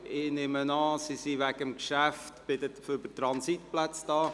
Ich nehme an, Sie seien wegen der Geschäfte zu den Transitplätzen hier.